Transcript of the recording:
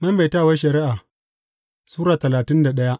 Maimaitawar Shari’a Sura talatin da daya